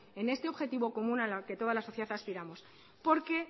en este objetivo común a la que toda la sociedad aspiramos porque